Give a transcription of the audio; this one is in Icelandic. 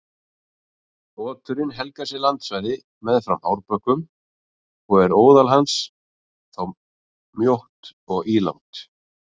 Oturinn helgar sér landsvæði meðfram árbökkum og er óðal hans þá mjótt og ílangt.